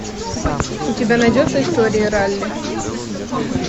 у тебя найдется история ралли